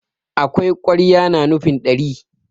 akwai ƙwarya na nufin ɗari